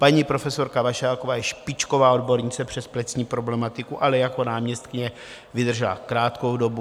Paní profesorka Vašáková je špičková odbornice přes plicní problematiku, ale jako náměstkyně vydržela krátkou dobu.